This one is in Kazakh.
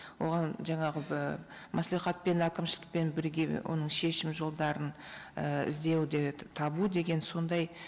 оған жаңағы маслихатпен әкімшілкпен бірге оның шешім жолдарын іздеуде табу деген сондай